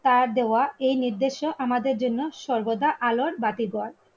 তার দেওয়া এই নির্দেশ আমাদের জন্য সর্বদা আলোর বাতি